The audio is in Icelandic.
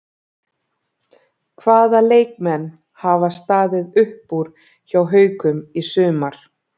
Hvaða leikmenn hafa staðið upp úr hjá Haukum í sumar?